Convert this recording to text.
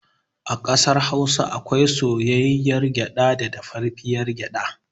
A ƙasar Hausa akwai soyayyiyar gyaɗa da dafaffiyar gyaɗa.